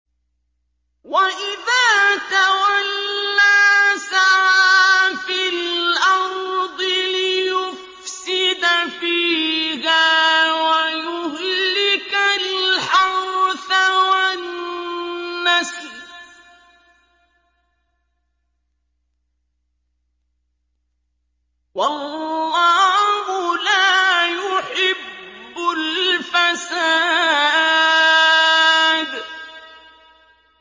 وَإِذَا تَوَلَّىٰ سَعَىٰ فِي الْأَرْضِ لِيُفْسِدَ فِيهَا وَيُهْلِكَ الْحَرْثَ وَالنَّسْلَ ۗ وَاللَّهُ لَا يُحِبُّ الْفَسَادَ